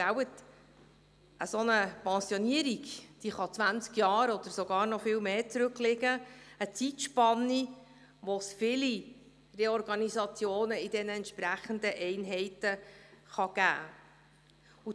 Denn, nicht wahr, eine Pensionierung kann zwanzig Jahre oder noch viel länger zurückliegen – eine Zeitspanne, während der es viele Reorganisationen in den entsprechenden Einheiten geben kann.